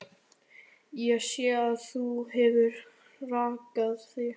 Ég sé að þú hefur rakað þig.